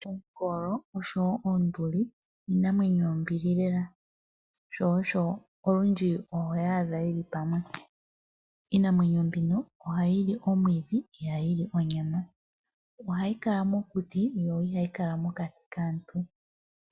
Oongolo osho wo oonduli iinamwenyo yombili lela, sho osho olundji oho yi adha yi li pamwe. Iinamwenyo mbino ohayi li omwiidhi, ihayi li onyama. Ohayi kala mokuti yo ihayi kala mokati kaantu.